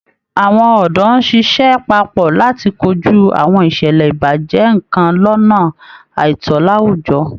Àwọn òdó ń ṣiṣẹ́ papọ̀ láti kojú àwọn ìṣẹ̀lẹ̀ ìbàjẹ́ nkan lọ́nà àìtó láwùjọ